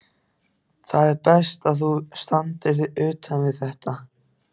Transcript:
Það er best, að þú standir utan við þetta.